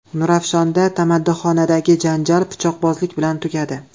Nurafshonda tamaddixonadagi janjal pichoqbozlik bilan tugadi.